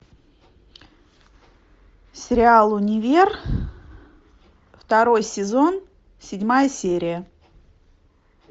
сериал универ второй сезон седьмая серия